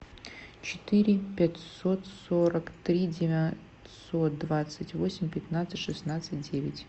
четыре пятьсот сорок три девятьсот двадцать восемь пятнадцать шестнадцать девять